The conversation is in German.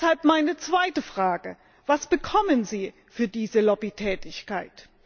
Deshalb meine zweite Frage Was bekommen Sie für diese Lobbytätigkeit?